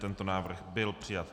Tento návrh byl přijat.